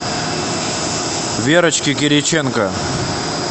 верочке кириченко